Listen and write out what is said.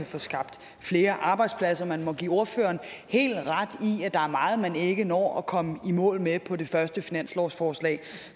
få skabt flere arbejdspladser man må give ordføreren helt ret i at der er meget man ikke når at komme i mål med på det første finanslovsforslag